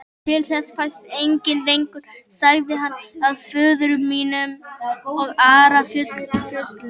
Til þess fæst enginn lengur, sagði hann,-að föður mínum og Ara föllnum.